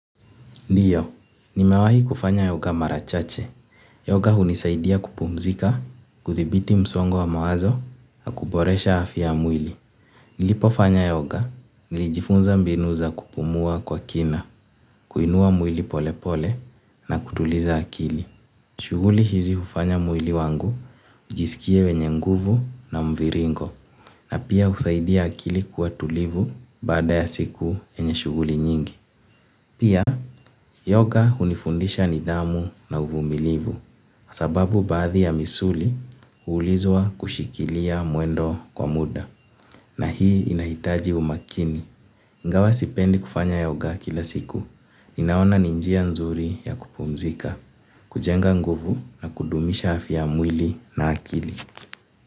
Ndiyo, nimawahi kufanya yoga mara chache. Yoga hunisaidia kupumzika, kuthibiti msongo wa mawazo, na kuboresha afya ya mwili. Nilipofanya yoga, nilijifunza mbinu za kupumua kwa kina, kuinua mwili polepole na kutuliza akili. Shughuli hizi hufanya mwili wangu ujisikie wenye nguvu na mviringo, na pia husaidia akili kuwa tulivu baada ya siku yenye shughuli nyingi. Pia, yoga hunifundisha nidhamu na uvumilivu, kwa sababu baadhi ya misuli huhitajika kushikilia mwendo kwa muda, na hii inahitaji umakini. Ingawa sipendi kufanya yoga kila siku, ninaona ni njia nzuri ya kupumzika, kujenga nguvu na kudumisha afya ya mwili na akili.